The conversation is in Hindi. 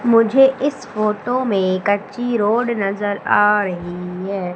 मुझे इस फोटो में कच्ची रोड नजर आ रही है।